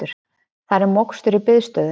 Þar er mokstur í biðstöðu